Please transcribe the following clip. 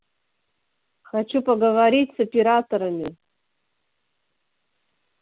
хочу поговорить с операторами